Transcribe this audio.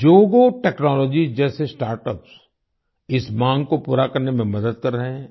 जोगो टेक्नोलॉजीज जैसे स्टार्टअप्स इस मांग को पूरा करने में मदद कर रहे हैं